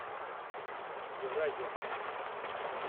евразия маршрут